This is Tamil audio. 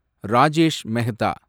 ராஜேஷ் மெஹதா